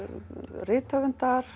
rithöfundar